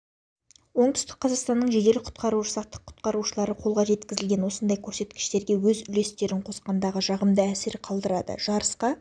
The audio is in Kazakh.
оңтүстік қазақстанның жедел-құтқару жасақтың құтқарушылары қолға жеткізген осындай көрсеткіштерге өз үлестерін қосқандығы жағымды әсер қалдырады жарысқа